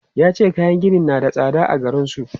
Ya ce kayan gini na da tsada a garin su.